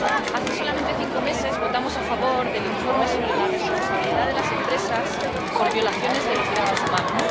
Hace solamente cinco meses votamos a favor del informe sobre la responsabilidad de las empresas por violaciones de los derechos humanos.